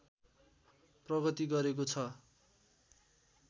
प्रगति गरेको छ